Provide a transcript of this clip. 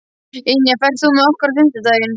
Ynja, ferð þú með okkur á fimmtudaginn?